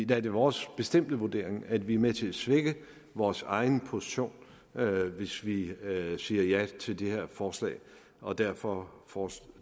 der er det vores bestemte vurdering at vi er med til at svække vores egen position hvis vi siger ja til det her forslag og derfor og